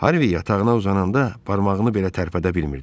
Harvi yatağına uzananda barmağını belə tərpədə bilmirdi.